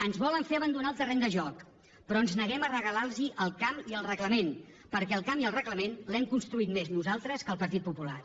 ens volen fer abandonar el terreny de joc però ens neguem a regalar los el camp i el reglament perquè el camp i el reglament l’hem construït més nosaltres que el partit popular